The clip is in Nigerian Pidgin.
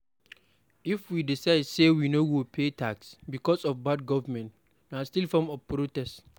If we decide say we no go pay tax becos of bad government, na still form of protest